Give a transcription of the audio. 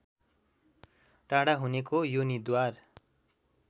टाढा हुनेको योनिद्वार